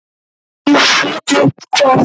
Ég set upp hvað?